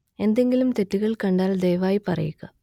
എന്തെങ്കിലും തെറ്റുകൾ കണ്ടാൽ ദയവായി പറയുക